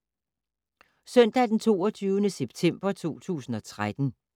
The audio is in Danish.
Søndag d. 22. september 2013